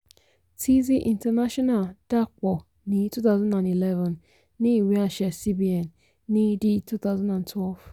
teasy international dàpọ̀ ní twenty eleven ní ìwé-àṣẹ cbn ní di twenty twelve.